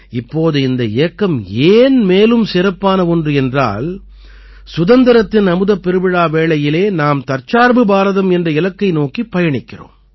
இப்போது இந்த இயக்கம் ஏன் மேலும் சிறப்பான ஒன்று என்றால் சுதந்திரத்தின் அமுதப் பெருவிழா வேளையிலே நாம் தற்சார்பு பாரதம் என்ற இலக்கை நோக்கிப் பயணிக்கிறோம்